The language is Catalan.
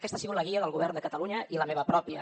aquesta ha sigut la guia del govern de catalunya i la meva pròpia